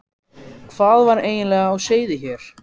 Hvað var eiginlega á seyði hér?